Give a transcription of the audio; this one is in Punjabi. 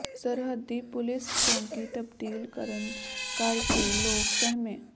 ਸਰਹੱਦੀ ਪੁਲੀਸ ਚੌਕੀ ਤਬਦੀਲ ਕਰਨ ਕਰ ਕੇ ਲੋਕ ਸਹਿਮੇ